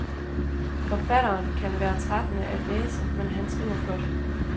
Forfateren kan være trættende at læse, men han skriver flot.